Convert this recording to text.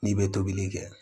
N'i bɛ tobili kɛ